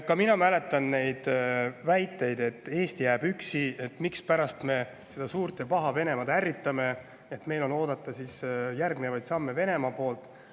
Ka mina mäletan neid väiteid, et Eesti jääb üksi ja mispärast me seda suurt ja paha Venemaad ärritame, et meil on oodata siis järgnevaid samme Venemaa poolt.